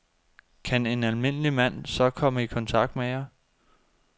Kan en almindelig mand så komme i kontakt med jer?